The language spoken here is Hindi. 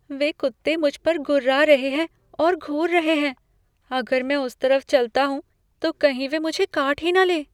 वे कुत्ते मुझ पर गुर्रा रहे हैं और घूर रहे हैं। अगर मैं उस तरफ चलता हूँ तो कहीं वे मुझे काट ही न लें।